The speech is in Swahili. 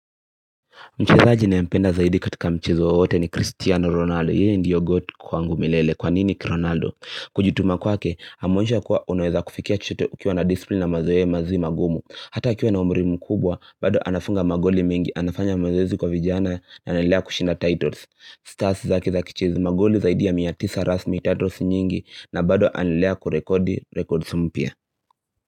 Mchezaji ninayempenda zaidi katika mchezo wowote ni Christiano Ronaldo, yeye ndiyo goat kwangu milele, kwa nini kRonaldo? Kujituma kwake, ameonyesha kuwa unaweza kufikia chochote ukiwa na disipline na mazoea ya mazoezi magumu Hata akiwa na umri mkubwa, bado anafunga magoli mengi, anafanya mazoezi kwa vijana na anaendelea kushinda titles Stars zake za kichizi, magoli zaidi ya mia tisa rasmi titles nyingi na bado anaendelea kurekodi records mpya.